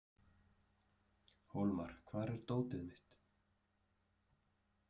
Hólmar, hvar er dótið mitt?